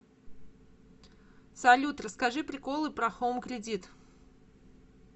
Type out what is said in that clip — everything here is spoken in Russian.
салют расскажи приколы про хоум кредит